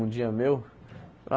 Um dia meu? Ah